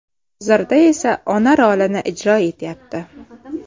Hozirda esa ona rolini ijro etyapti.